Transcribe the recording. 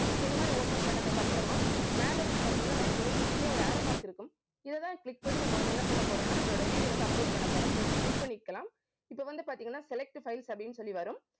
இப்ப இந்த மாதிரி open பண்ணதுக்கு அப்புறமா மேல வந்து பாத்தீங்கன்னா நமக்கு ஒரு குட்டியா ஒரு arrow mark இருக்கும் இதைத்தான் click பண்ணி, நம்ம வந்து என்ன பண்ண போறோம்னா நம்மளோட video வந்து upload பண்ண போறோம். just click பண்ணிக்கலாம். இப்ப வந்து பார்த்தீங்கன்னா select files அப்படின்னு சொல்லி வரும்